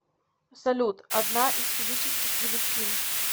салют одна из физических величин